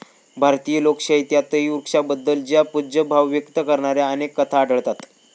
भारतीय लोकशाही त्यातही वृक्षाबद्दल चा पूज्यभाव व्यक्त करणाऱ्या अनेक कथा आढळतात